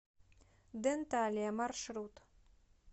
денталия маршрут